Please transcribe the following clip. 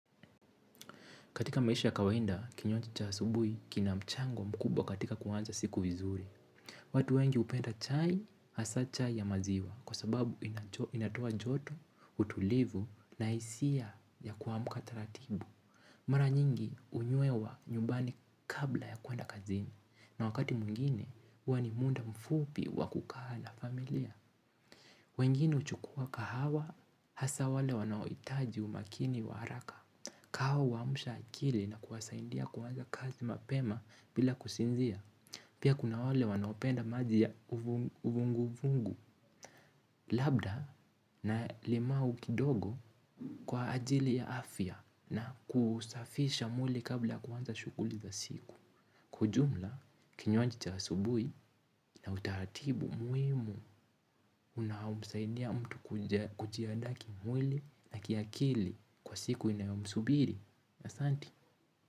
Katika maisha ya kawainda, kinywaji chasubui, kina mchango mkubwa katika kuwanza siku vizuri. Watu wengi upenda chai, hasa chai ya maziwa, kwa sababu inatua joto, utulivu, na isia ya kuamuka taratibu. Mara nyingi unyuewa nyubani kabla ya kuanda kazini, na wakati mwingine, wani munda mfupi wakukaa na familia. Wengine uchukua kahawa hasa wale wanaoitaji umakini wa haraka. Kahawa wamusha akili na kuwasaindia kuwanza kazi mapema bila kusinzia. Pia kuna wale wanaopenda maji ya uvunguvungu labda na limau kidogo kwa ajili ya afya na kusafisha mwili kabla kuwanza shukuli za siku. Kwa ujumla, kinywanji chasubui na utaratibu muimu unahaumsaidia mtu kujia daki mwili na kia kili kwa siku inayomsubiri. Asanti.